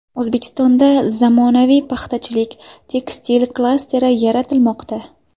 O‘zbekistonda zamonaviy paxtachilik-tekstil klasteri yaratilmoqda.